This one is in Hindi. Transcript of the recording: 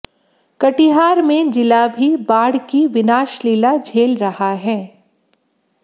कटिहार में जिला भी बाढ़ की विनाशलीला झेल रहा है